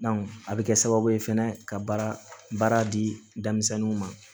a bɛ kɛ sababu ye fɛnɛ ka baara baara di denmisɛnninw ma